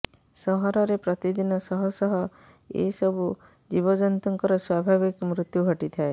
ସହରରେ ପ୍ରତିଦିନ ଶହ ଶହ ଏସବୁ ଜୀବଜନ୍ତୁଙ୍କର ସ୍ୱାଭାବିକ ମୃତ୍ୟୁ ଘଟିଥାଏ